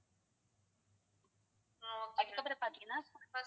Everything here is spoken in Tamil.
அதுக்கப்பறம் பாத்திங்கனா